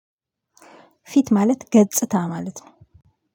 ፊት ማለት ገጽታ ማለት ነው።